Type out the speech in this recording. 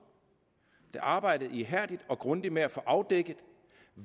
der arbejdede ihærdigt og grundigt med at få afdækket